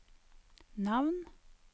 navn